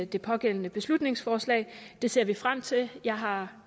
det pågældende beslutningsforslag det ser vi frem til jeg har